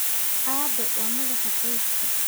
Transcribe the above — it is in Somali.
Aabbe waa madaxa qoyska.